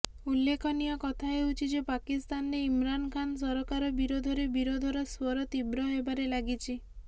ଉଲ୍ଲେଖନୀୟ କଥା ହେଉଛି ଯେ ପାକିସ୍ତାନରେ ଇମ୍ରାନ ଖାନ ସରକାର ବିରୋଧରେ ବିରୋଧର ସ୍ୱର ତୀବ୍ର ହେବାରେ ଲାଗିଛି